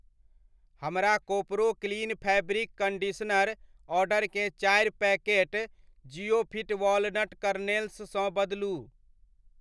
हमर Koparo clean fabric conditioner order केँ चारि पैकेट ज़िओफिट वॉलनट करनेल्स सँ बदलु।